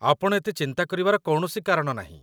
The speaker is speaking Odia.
ଆପଣ ଏତେ ଚିନ୍ତା କରିବାର କୌଣସି କାରଣ ନାହିଁ!